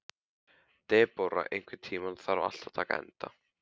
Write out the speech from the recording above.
Debóra, einhvern tímann þarf allt að taka enda.